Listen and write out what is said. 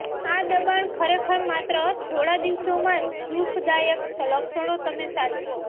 આ દબાણ ખરેખર માત્ર થોડા દિવસોમાં દુઃખદાયક લક્ષણો તમે સાચવો